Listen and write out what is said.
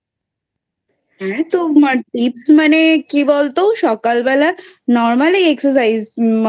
হ্যাঁ তো Tips মানে কি বলতো সকালবেলা Normally Excercise